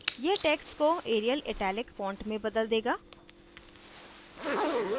यह टेक्स्ट को arial italic font में बदल देगा